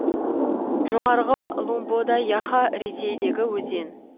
жоғарғы лумбода яха ресейдегі өзен